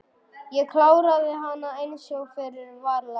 Ég kláraði hana einsog fyrir var lagt.